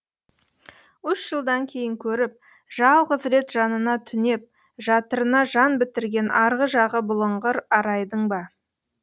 үш жылдан кейін көріп жалғыз рет жанына түнеп жатырына жан бітірген арғы жағы бұлыңғыр арайдың ба